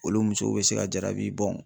Olu musow bɛ se ka jaabi